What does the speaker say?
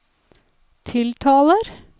tiltaler